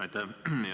Aitäh!